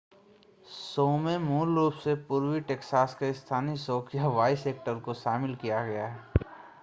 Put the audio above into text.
show में मूल रूप से पूर्वी टैक्सास के स्थानीय शौकिया वॉइस एक्टर्स को शामिल किया गया है